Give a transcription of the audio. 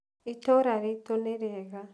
itũra ritũ nĩrĩega.